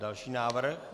Další návrh.